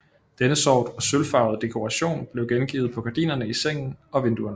Denne sort og sølvfarvede dekoration blev gengivet på gardinerne i sengen og vinduerne